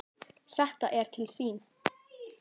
Þetta er til þín